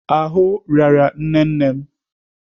Ahụ rịara nne nne m.